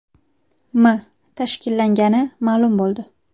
M. tashkillagani ma’lum bo‘ldi.